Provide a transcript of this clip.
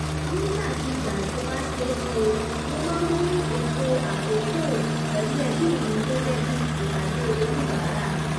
nigba kigba to ba seese, mo ma nmu eto akookopelu ebi mi bi ipade oni 'bara